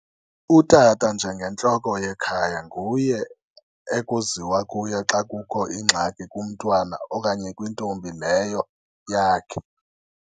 Utata njengentloko yekhaya nguye ekuziwa kuye xa kukho ingxaki kumntwana okanye kwintombi leyo yakhe.